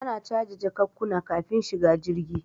Ana caje jakunkuna kafin shiga jirgi